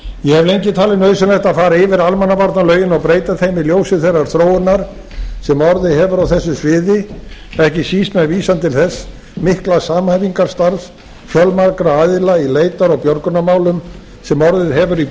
ég hef lengi talið nauðsynlegt að fara yfir almannavarnalögin og breyta þeim í ljósi þeirrar þróunar sem orðið hefur á þessu sviði ekki síst með vísan til þess mikla samhæfingarstarfs fjölmargra aðila í leitar og björgunarmálum sem orðið hefur í